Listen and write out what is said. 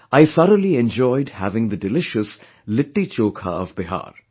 I thoroughly enjoyed having the delicious Litti Chokha of Bihar